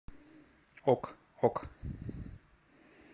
ок ок